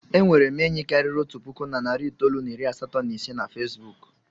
E nwere m enyi karịrị otu puku na narị itoolu na iri asatọ na ise na Fesbuku.